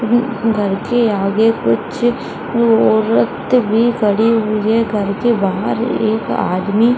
उम्म घर के आगे कुछ औरत भी खड़ी हुई है घर के बहार एक आदमी --